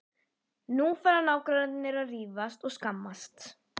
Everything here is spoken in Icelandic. Nú fara nágrannarnir að rífast og skammast.